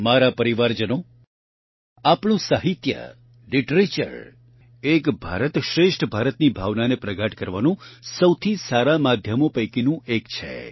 મારા પરિવારજનો આપણું સાહિત્ય લિટરેચર એક ભારતશ્રેષ્ઠ ભારતની ભાવનાને પ્રગાઢ કરવાનું સૌથી સારા માધ્યમો પૈકીનું એક છે